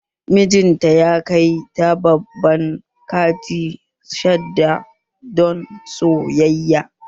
Mijin ta ya kai ta babban kanti sahad don sayayya